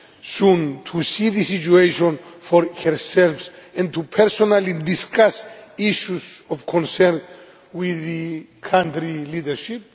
soon to see the situation for herself and to personally discuss issues of concern with the country's leadership.